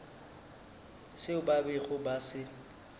seo ba bego ba se